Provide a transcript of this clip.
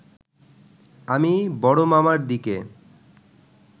আমি বড় মামার দিকে